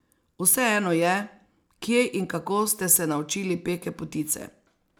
Vseeno je, kje in kako ste se naučili peke potice.